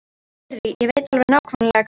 Heyrðu, ég veit alveg nákvæmlega hvenær.